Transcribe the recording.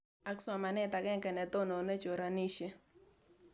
Ak somanet ag'eng'e ne tonone choranishet